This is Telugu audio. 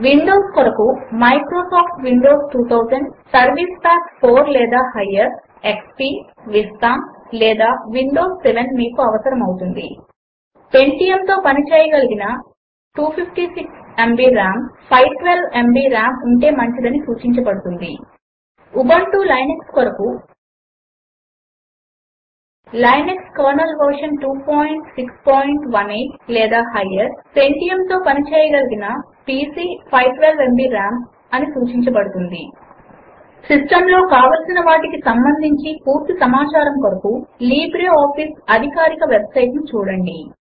విండోస్ కొరకు మైక్రోసాఫ్ట్ విండోస్ 2000 సర్వీస్ పాక్ 4 లేదా హైయ్యర్ ఎక్స్పీ విస్తా లేదా విండోస్ 7 మీకు అవసరము అవుతుంది పెంటియం తో పని చేయగలిగిన 256 ఎంబీ రామ్ 512 ఎంబీ రామ్ ఉంటే మంచిది అని సూచించబడుతుంది ఉబుంటూ లినక్స్ కొరకు160 లినక్స్ కెర్నెల్ వెర్షన్ 2618 లేదా హైయ్యర్ పెంటియం తో పని చేయగలిగిన పీసీ 512 ఎంబీ రామ్ అని సూచించబడుతుంది లిబ్రేఆఫీస్ సూట్ ను ఇన్స్టాల్ చేసుకోవడము కొరకు దాని అధికారిక వెబ్ సైట్ httpwwwlibreofficeorg ను చూడండి